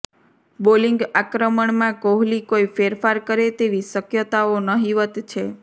bowling આક્રમણમાં કોહલી કોઈ ફેરફાર કરે તેવી શક્યતાઓ નહીંવત છે